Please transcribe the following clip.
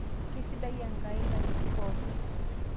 keisidai Enkai nktitin pooki